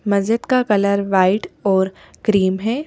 मस्जिद का colour white और क्रीम है।